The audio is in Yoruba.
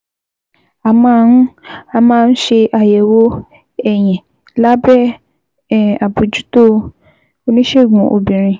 A máa ń máa ń ṣe àyẹ̀wò ẹyin lábẹ́ um àbójútó oníṣègùn obìnrin